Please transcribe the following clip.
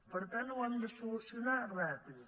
per tant ho hem de solucionar ràpid